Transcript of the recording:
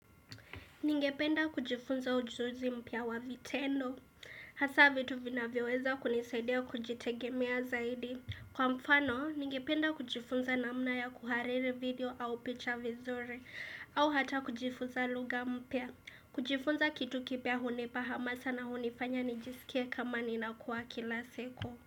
Ningependa kujifunza ujuzi mpya wa vitendo. Hasa vitu vina vyoweza kunisaidea kujitegemea zaidi. Kwa mfano, ningependa kujifunza na mna ya kuhariri video au picha vizuri au hata kujifunza lugampya kujifunza kitu kipya hunepa hamasa na hunifanya nijisikia kama nina kuwa kilaseko.